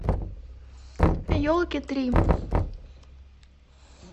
елки три